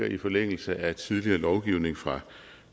i forlængelse af tidligere lovgivning fra